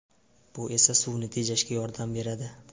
Bu esa suvni tejashga yordam beradi”.